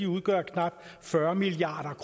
udgør knap fyrre milliard